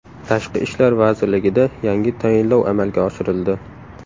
Tashqi ishlar vazirligida yangi tayinlov amalga oshirildi.